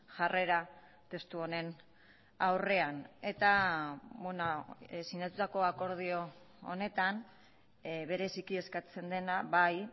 jarrera testu honen aurrean eta sinatutako akordio honetan bereziki eskatzen dena bai